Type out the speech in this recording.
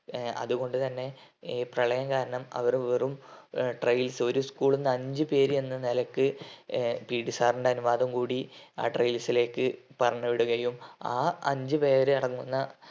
ഏർ അതു കൊണ്ട് തന്നെ ഈ പ്രളയം കാരണം അവർ വെറും ഏർ trails ഒരു school ന്ന് അഞ്ച് പേര് എന്ന നിലയ്ക്ക് ഏർ PT Sir ൻ്റെ അനുവാദം കൂടി ആ trails ലേക്ക് പറഞ്ഞുവിടുകയും ആ അഞ്ച് പേര് അടങ്ങുന്ന